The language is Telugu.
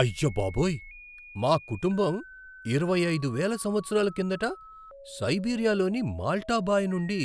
అయ్యబాబోయ్! మా కుటుంబం ఇరవై అయిదు వేల సంవత్సరాల కిందట సైబీరియాలోని మాల్టా బాయ్ నుండి